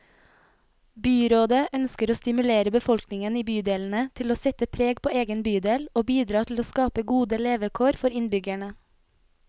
Byrådet ønsker å stimulere befolkningen i bydelene til å sette preg på egen bydel, og bidra til å skape gode levekår for innbyggerne.